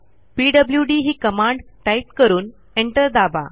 PWD ही command type करून enter दाबा